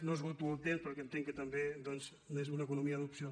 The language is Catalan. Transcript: no esgoto el temps perquè entenc que també doncs és una economia d’opció